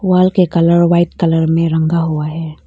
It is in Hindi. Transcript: बाल के कलर वाइट कलर में रंगा हुआ है।